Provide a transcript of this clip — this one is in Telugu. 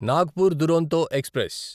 నాగ్పూర్ దురోంతో ఎక్స్ప్రెస్